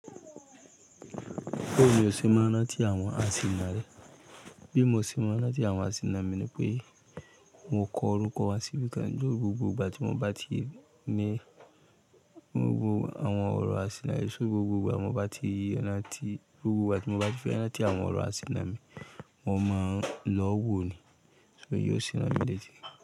Bawi ni ó ṣe ma n ranti àwọn àsìnà rẹ. Bí mo ṣe mọ́ ń rántí àwọn àsìnà mi ni pé mo kọ orúkọ wá síbi kan lórí gbogbo ìgbà tí mo bá ti ní gbogbo àwọn ọ̀rọ̀ àsìnà rẹ, só gbogbo ìgbà mo bá ti fẹ́ rántí àwọn ọ̀rọ̀ àsìnà mi mo máa ń lọ́wọ́ ni. Ṣé yóò ṣe mọ́ mi létí?